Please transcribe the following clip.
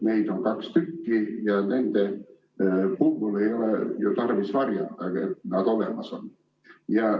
Neid on kaks ja nende puhul ei ole ju tarvis varjata, et nad olemas on.